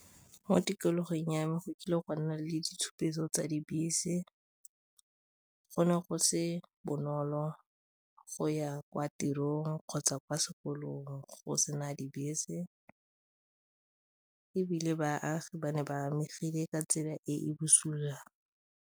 Mo tikologong ya me go kile gwa nna le ditshupetso tsa dibese, go ne go se bonolo go ya kwa tirong kgotsa kwa sekolong go sena dibese ebile baagi ba ne ba amegile ka tsela e e bosula.